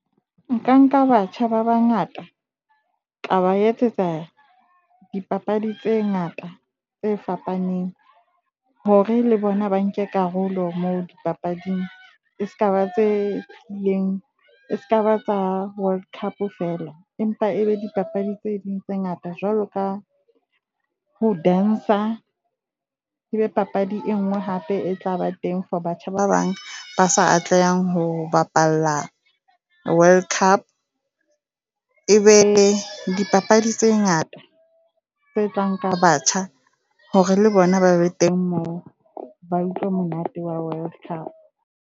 Nka nka batjha ba bangata ka ba etsetsa dipapadi tse ngata tse fapaneng hore le bona ba nke karolo moo dipapading. E ska ba tse e leng e skaba tsa World Cup feela. Empa ebe dipapadi tse ding tse ngata jwalo ka ho dance-a, ebe papadi e ngwe hape e tlaba teng for batjha ba bang ba sa atlehang ho bapala World Cup. E be dipapadi tse ngata tse tlang ka batjha hore le bona ba be teng moo ba utlwe monate wa World Cup.